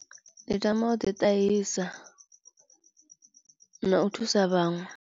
Ndi tama u ḓiṱahisa u na u thusa vhaṅwe.